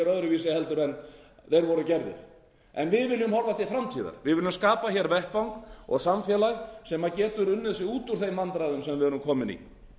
öðruvísi en þeir voru gerðir en við viljum horfa til framtíðar við viljum skapa hér vettvang og samfélag sem getur unnið sig út úr þeim vandræðum sem við erum komin